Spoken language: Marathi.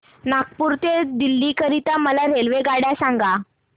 नागपुर ते दिल्ली करीता मला रेल्वेगाड्या सांगा